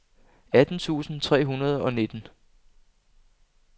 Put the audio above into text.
atten tusind tre hundrede og nitten